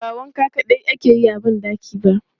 Ba wanka kaɗai ake yi a ban ɗaki ba.